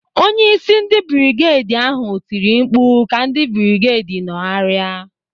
Onyeisi ndị brigedi ahụ tiri mkpu ka ndị brigedi nọgharịa.